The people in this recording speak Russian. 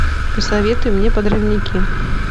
посоветуй мне подрывники